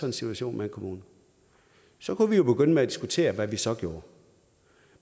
en situation med en kommune så kunne vi jo begynde med at diskutere hvad vi så gjorde